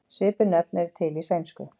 Svipuð nöfn eru til í sænsku.